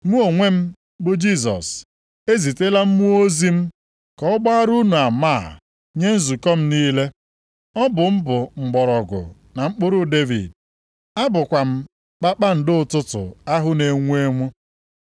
“Mụ onwe m, bụ Jisọs ezitela mmụọ ozi m ka ọ gbara unu ama a nye nzukọ m niile. Ọ bụ m bụ Mgbọrọgwụ na Mkpụrụ Devid. Abụkwa m Kpakpando ụtụtụ ahụ na-enwu enwu.”